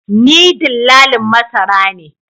Ni dillalin masara ne